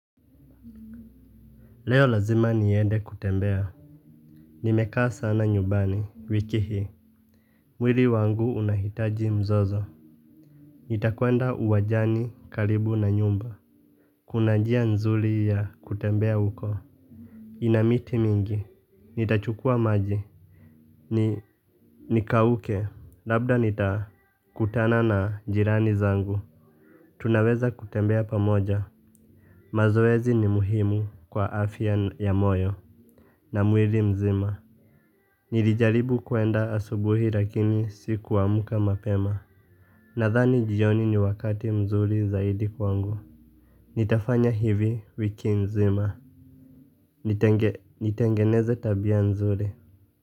Leo lazima niende kutembea. Nimekaa sana nyumbani wiki hii. Mwili wangu unahitaji mzozo. Nitakwenda uwanjani karibu na nyumba. Kuna njia nzuri ya kutembea uko. Ina miti mingi. Nitachukua maji. Ni kauke. Labda nitakutana na jirani zangu. Tunaweza kutembea pamoja. Mazoezi ni muhimu kwa afya ya moyo na mwili mzima. Nilijaribu kuenda asubuhi lakini siku amka mapema. Nadhani jioni ni wakati mzuri zaidi kwangu. Nitafanya hivi wiki nzima. Nitengeneze tabia nzuri.